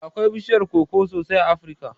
Da akwai bishiyar koko sosai a Afirka